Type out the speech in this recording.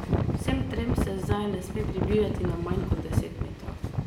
Vsem trem se zdaj ne sme približati na manj kot deset metrov.